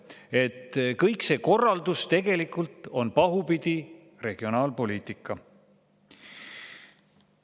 Nii et kõik see korraldus tegelikult on pahupidi regionaalpoliitika.